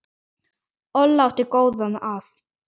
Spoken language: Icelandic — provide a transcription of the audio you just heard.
Olla átti góða að.